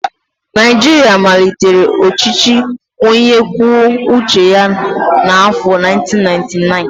Naijiria malitere ọchịchị onye kwuo uche ya n'arọ 1999